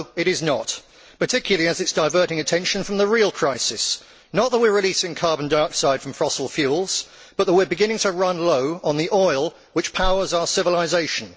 No, it is not, particularly as it is diverting attention from the real crisis not that we are releasing carbon dioxide from fossil fuels, but that we are beginning to run low on the oil which powers our civilisation.